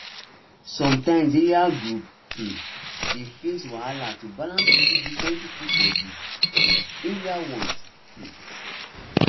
sometimes area group um dey face wahala to balance wetin different people for the um area want um